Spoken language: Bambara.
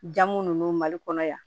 Jamu nunnu mali kɔnɔ yan